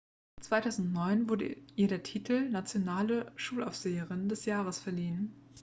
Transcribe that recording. "2009 wurde ihr der titel "nationale schulaufseherin des jahres" verliehen.